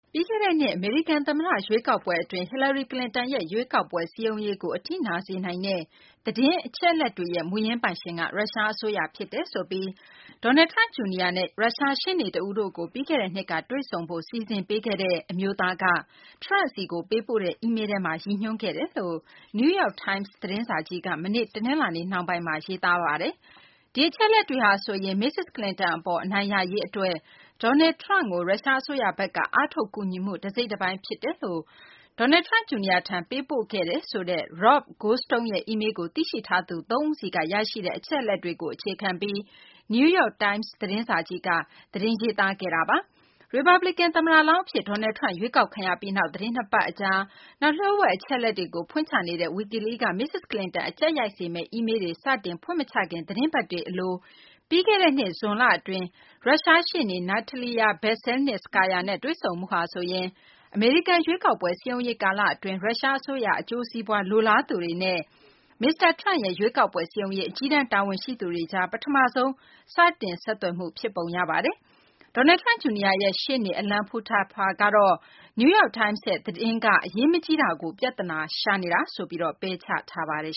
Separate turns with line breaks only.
ပြီးခဲ့တဲ့နှစ် အမေရိကန် သမ္မတ ရွေးကောက်ပွဲ အတွင်း ဟီလာရီကလင်တန်ရဲ့ ရွေးကောက်ပွဲ စည်းရုံးရေးကို အထိနာစေနိုင်တဲ့ သတင်းအချက်အလက်တွေရဲ့ မူရင်းပိုင်ရှင်က ရုရှား အစိုးရ ဖြစ်တယ်ဆိုပြီး Donald Trump Jr. နဲ့ ရုရှား ရှေ့နေတဦးတို့ကို ပြီးခဲ့တဲ့နှစ်က တွေ့ဆုံဖို့ စီစဉ်ပေးခဲ့တဲ့ အမျိုးသားက Trump ဆီကို ပေးပို့တဲ့ အီးမေလ်းထဲမှာ ရည်ညွှန်း ခဲ့တယ်လို့ New York Times သတင်းစာကြီးက မနေ့ တနလာၤနေ့ နှောင်းပိုင်းမှာ ရေးသားပါတယ်။ ဒီအချက်အလက်တွေဟာဆိုရင် မစ္စစ် ကလင်တန် အပေါ် အနိုင်ရရေး အတွက် Donald Trump ကို ရုရှားအစိုးရဘက်က အားထုတ် ကူညီမှု တစိတ်တပိုင်း ဖြစ်တယ်လို့ Donald Trump Jr. ထံ ပေးပို့ခဲ့တယ်ဆိုတဲ့ Rob Goldstone ရဲ့ အီးမေလ်းကို သိရှိထားသူ သုံးဦးဆီက ရရှိတဲ့ အချက်အလက်တွေကို အခြေခံပြီး New York Times သတင်းစာကြီးက သတင်းရေးသားခဲ့တာပါ။ ရီပတ်ပလီကန် သမ္မတလောင်း အဖြစ် Donald Trump ရွေးကောက်ခံရပြီးနောက် သတင်း ၂ ပတ် အကြာ၊ နောက် လျို့ဝှက် အချက်အလက်တွေကို ဖွင့်ချနေတဲ့ Wikileaks က မစ္စစ် ကလင်တန် အကြပ်ရိုက်စေမယ့် အီးမေလ်းတွေ စတင် ဖွင့်မချခင် သီတင်းပတ်တွေ ကလို ပြီးခဲ့တဲ့နှစ် ဇွန်လ အတွင်း ရုရှား ရှေ့နေ Natalia Veselnitskaya နဲ့ တွေ့ဆုံမှုဟာဆိုရင် အမေရိကန် ရွေးကောက်ပွဲ စည်းရုံးရေး ကာလအတွင်း ရုရှား အစိုးရ အကျိုးစီးပွား လိုလားသူတွေနဲ့ မစ္စတာ Trump ရဲ့ ရွေးကောက်ပွဲ စည်းရုံးရေး အကြီးတန်း တာဝန်ရှိသူတွေကြား ပထမဆုံး စတင် ဆက်သွယ်မှု ဖြစ်ပုံရပါတယ်။ Donald Trump Jr. ရဲ့ ရှေ့နေ Alan Futerfas ကတော့ New York Times ရဲ့ သတင်းက အရေးမကြီးတာကို ပြသနာရှာ နေတာဆိုပြီး ပယ်ချထားပါတယ်